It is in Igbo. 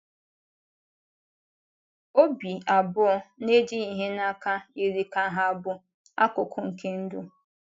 Ọ̀bì abụọ na-ejighị ihe n’aka yiri ka hà bụ akụkụ nke ndụ.